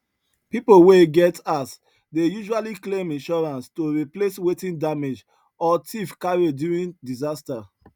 people wey get house dey usually claim insurance to replace wetin damage or thief carry during disaster